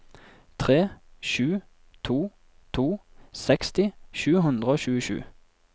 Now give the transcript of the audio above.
tre sju to to seksti sju hundre og tjuesju